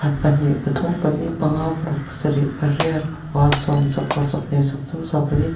pahnih pathum pali panga paruk pasarih pariat pakua sawm sawmpakhat sawmpahnih sawmpathum sawmpali.